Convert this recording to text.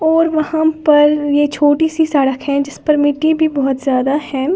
और वहां पर ये छोटी सी सड़क है जिस पर मिट्टी भी बहुत ज्यादा है।